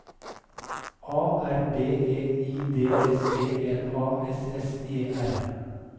A R B E I D S P L A S S E R